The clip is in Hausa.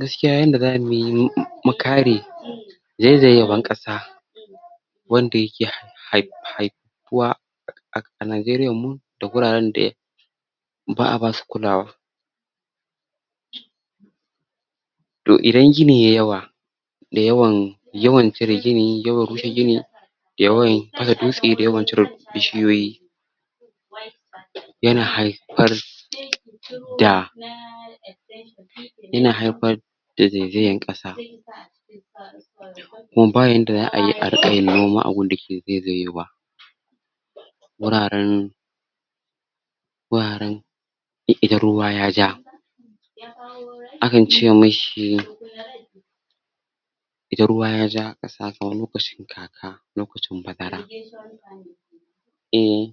gaskiya yanda zamuyi mukare zaizayewan ƙasa wanda yake hai haifuwa a Najeriyan mu da guraren da ba'a basu kulawa to idan gini yayi yawa da yawan yawan cire gini yawan rushe gini yawa fasa dutse da yawan cire bishi yoyi yana haifar da shi da ina haifpar da zaizayan ƙasa kuma bayanda za'ayi ariƙa yin noma a gunda ke zaizayewa wuraren wuraren i idan ruwa yaja akan ce mishi idan ruwa yaja kaman lokacin kaka lokacin bazara um